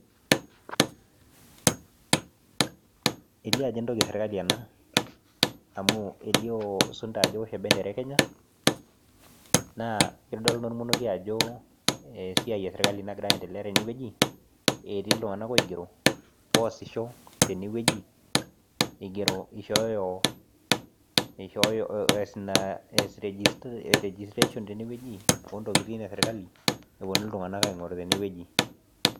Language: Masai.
elio ajo entoki esirikali ena amu elio isunda amu ewosho ebendera ekenya , naa kitodolu ina olmonokie ajo esiai esirikali nagira endelea teneweji, etii itung'anak oigero oosisho tene weji , ees registration teneweji oontokitin esirikali ishooyo iltung'anak teneweji.